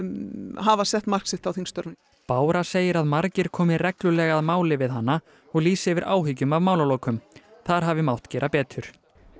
hafa sett mark sitt á þingstörfin bára segir að margir komi reglulega að máli við hana og lýsi yfir áhyggjum af málalokum þar hafi mátt gera betur